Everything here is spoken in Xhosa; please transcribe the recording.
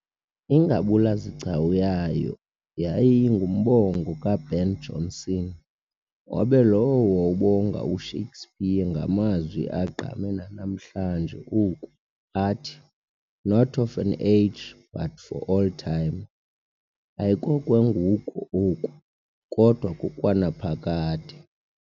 Ingabula-zigcawu yayo yayingumbongo ka-Ben Jonson, mhobe lowo wawubonga u-Shakespeare ngamazwi agqame nanamhla oku athi not of an age, but for all time ayikokwengugo oku, kodwa kokwanaphakade.